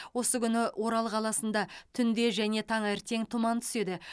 осы күні орал қаласында түнде және таңертең тұман түседі